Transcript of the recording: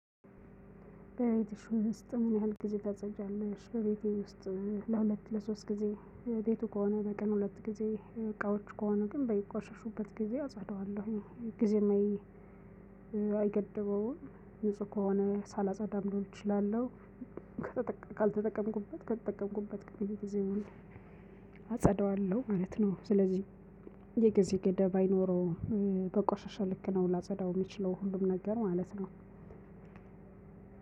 በቤቴ ውስጥ ምን ያህል ጊዜ ታጸጃለሽ በቤቴ ውስጥ ለሁለት ለሶስት ጊዜ ቤቱ ከሆነ በቀን ሁለት ጊዜ እቃዎች ከሆኑ ግን በይቆርሽሹበት ጊዜ አጻደዋለሁ ጊዜም አይገድበውም ንጹህ ከሆነ ሳላጸዳም ልዉል እችላለሁ። ካልተጠቀምኩበት ከተጠቀምኩበት ቅድም ጊዜ አጸዳለሁ ማለት ነው ስለዚህ የግዜ ገደብ አይኖረውም። በቆሸሸ ልክ ነው ላጸዳው የሚችለው ሁሉም ነገር ማለት ነው።